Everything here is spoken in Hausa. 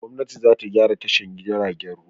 Gwamnati za ta gyra tashar jiagen ruwa.